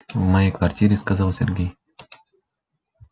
в моей квартире сказал сергей